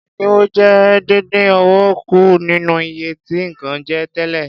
Ẹdinwo jẹ́ dindin owó kù nínú iye tí nǹkan je tẹ́lẹ̀.